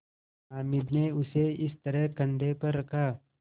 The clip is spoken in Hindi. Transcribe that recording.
हामिद ने उसे इस तरह कंधे पर रखा